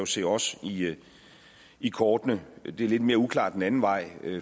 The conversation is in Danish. se os i kortene det er lidt mere uklart den anden vej